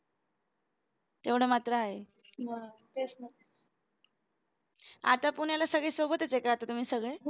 तेवढं मात्र आहे आता पुण्याला सगळे सोबतच आहे का आता तुम्ही सगळे